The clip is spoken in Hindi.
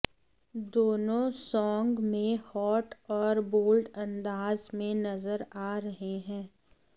दोनों सॉन्ग में हॉट औऱ बोल्ड अंदाज में नजर आ रहे हैं